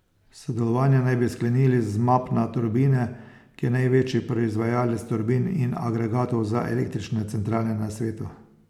Sodelovanje naj bi sklenili z Mapna turbine, ki je največji proizvajalec turbin in agregatov za električne centrale na svetu.